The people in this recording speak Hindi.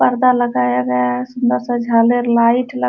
पर्दा लगाया गया है सुन्दर सा झालर लाइट ल --